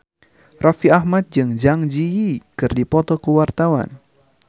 Raffi Ahmad jeung Zang Zi Yi keur dipoto ku wartawan